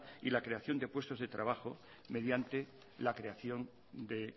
y la creación de puestos de trabajo mediante la creación de